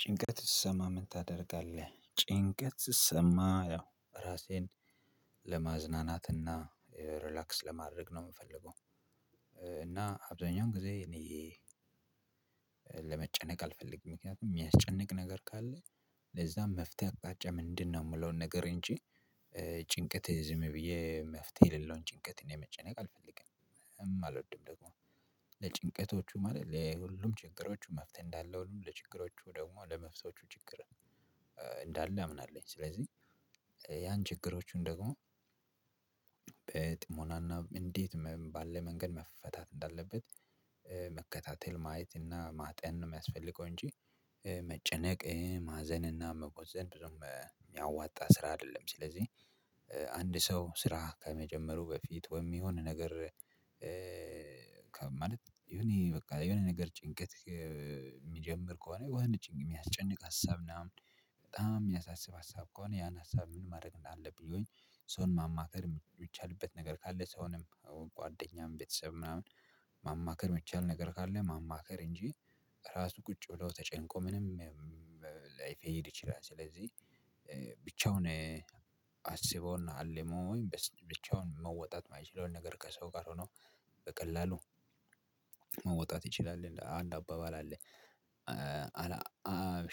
ጭንቀት ስሰማ ምን ታደርጋለህ? ጭንቀት ስሰማ ያው ራሴን ለማዝናናትና ሪላክስ ለማድረግ ነው የምፈልገው። እና አብዛኛውን ጊዜ እኔ ለመጨነቅ አልፈልግም ምክንያቱም የሚያስጨንቅ ነገር ካለ ለዛም መፍትሄ አቅጣጫ ምንድነው የምለውን ነገር እንጂ ጭንቀት ዝም ብዬ መፍትሄ የሌለውን ጭንቀትን የመጨነቅ አልፈልግም። አልወድም ደግሞ ለጭንቀቶቹ ማለት ለሁሉም ችግሮቹ መፍትሄ እንዳለ ሁሉም ለችግሮቹ ደግሞ ለመፍታቶቹ ችግር እንዳለ አምናለሁ። ስለዚህ ያን ችግሮቹን ደግሞ በጥሞናና እንዴት ባለ መንገድ መፈታት እንዳለበት መከታተል ማየት እና ማጤን ነው የሚያስፈልገው እንጂ መጨነቅ ማዘን እና መቆዘም ብዙም የሚያዋጣ ስራ አይደለም። ስለዚህ አንድ ሰው ስራ ከመጀመሩ በፊት ወይም የሆነ ነገር ከማለት የሆነ የሆነ ነገር ጭንቀት የሚጀምር ከሆነ ወህነት ጭንቅ የሚያስጨንቅ ሀሳብ ምናምን በጣም የሚያሳስብ ሀሳብ ከሆነ ያን ሀሳብ ምን ማድረግ እንዳለብኝ ይሆን? ሰውን ማማከር የሚቻልበት ነገር ካለ ሳሆንም ጓደኛም ቤተሰብም ምናምን ማማከር የሚቻል ነገር ካለ ማማከር እንጂ ራሱ ቁጭ ብለው ተጨንቆ ምንም ላይፈሄድ ይችላል። ስለዚህ ብቻውን አስቦና አልሞ ብቻውን መወጣት የማይችለውን ነገር ከሰው ጋር ሆኖ በቀላሉ መውጣት ይችላል። አንድ አባባል አለ አላ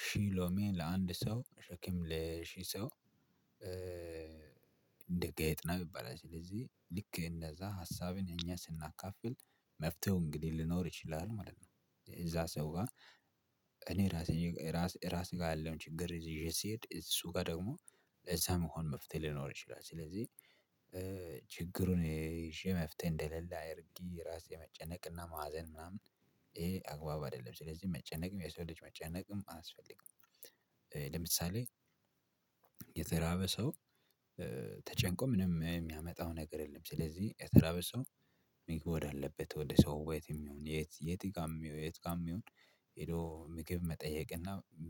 ሺሎሜን ሺሎሜ ለአንድ ሰው ሸክም ለሺህ ሰው እንደ ጌጥና ቢባል ስለዚህ ልክ እንደዛ ሀሳብን እኛ ስናካፍል መፍትሄው እንግዲህ ልኖር ይችላል ማለት ነው። እዛ ሰው ጋር እኔ ራሴ ራስ ራስ ጋር ያለው ችግር ይዤ ስሄድ እሱ ጋር ደግሞ እዛ መሆን መፍትሄ ሊኖር ይችላል። ስለዚህ ችግሩን ይዤ መፍትሄ እንደሌለ አድርጊ ራሴ መጨነቅና ማዘን ምናምን ይሄ አግባብ አይደለም ስለዚህ መጨነቅም የሰው ልጅ መጨነቅም አያስፈልግም። ለምሳሌ የተራበ ሰው ተጨንቆ ምንም የሚያመጣው ነገር የለም። ስለዚህ የተራበ ሰው መግባት አለበት ወደ ሰው ወይት የሚሆን የት የት ጋር የሚሆን የት ጋር የሚሆን ሄዶ ምግብ መጠየቅ እና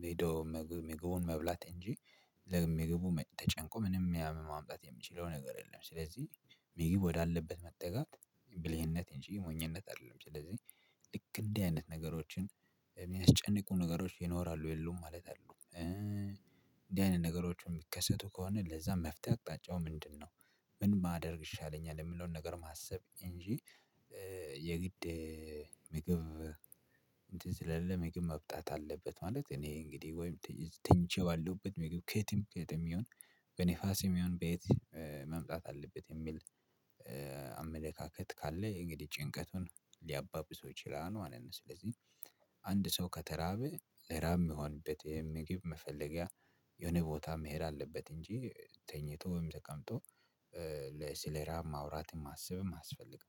ሄዶ ምግቡን መብላት እንጂ ለምግቡ ተጨንቆ ምንም ያህል ማምጣት የምችለው ነገር የለም። ስለዚህ ምግብ ወዳለበት መጠጋት ብልህነት እንጂ የሞኝነት አይደለም። ስለዚህ ልክ እንደዚህ አይነት ነገሮችን የሚያስጨንቁ ነገሮች ይኖራሉ የሉም ማለት አሉ። እንዲህ አይነት ነገሮችን የሚከሰቱ ከሆነ ለዛ መፍትሄ አቅጣጫው ምንድነው? ምን ማደርግ ይሻለኛል የምለውን ነገር ማሰብ እንጂ የግድ ምግብ እንትን ስለሌለ ምግብ መምጣት አለበት ማለት እኔ እንግዲህ ወይም ትንጨዋለሁበት ምግብ ከትም ከትም ይሁን በነፋሴም ይሁን በየት መምጣት አለበት የሚል አመለካከት ካለ የእንግዲህ ጭንቀቱን ሊያባብሰው ይችላል ማለት ነው። ስለዚህ አንድ ሰው ከተራበ ለራብ የሚሆንበት ይሄን ምግብ መፈለጊያ የሆነ ቦታ መሄድ አለበት። እንጂ ተኝቶ ተቀምጦ ስለ ራብ ማውራትም ማስብም የማስፈልግ